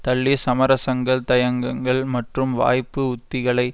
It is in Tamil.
தள்ளி சமரசங்கள் தயங்கங்கள் மற்றும் வாய்ப்பு உத்திகளை